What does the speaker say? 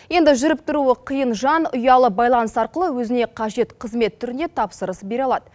енді жүріп тұруы қиын жан ұялы байланыс арқылы өзіне қажет қызмет түріне тапсырыс бере алады